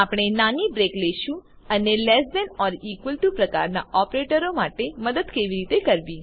આપણે નાની બ્રેક લેશું અને less than or equal to પ્રકારના ઓપરેટરો માટે મદદ કેવી રીતે કરવી